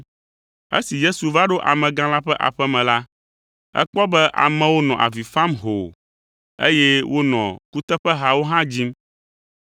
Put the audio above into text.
Esi Yesu va ɖo amegã la ƒe aƒe me la, ekpɔ be amewo nɔ avi fam hoo, eye wonɔ kuteƒehawo hã dzim.